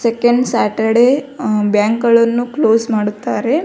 Second Saturday bank ಗಳನ್ನು close ಮಾಡುತ್ತಾರೆ.